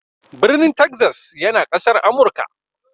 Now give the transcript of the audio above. Birnin Texas yana Ƙasar Amurka.